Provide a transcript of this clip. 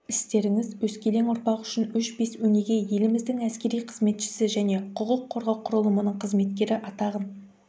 істеріңіз өскелең ұрпақ үшін өшпес өнеге еліміздің әскери қызметшісі және құқық қорғау құрылымының қызметкері атағын